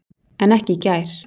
En ekki í gær.